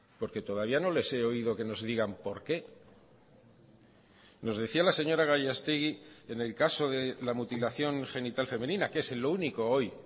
porque todavía no les he oído que nos digan por qué nos decía la señora gallastegui en el caso de la mutilación genital femenina que es en lo único hoy